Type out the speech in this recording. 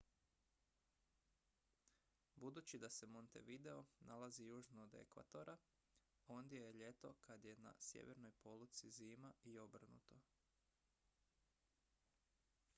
budući da se montevideo nalazi južno od ekvatora ondje je ljeto kad je na sjevernoj poluci zima i obrnuto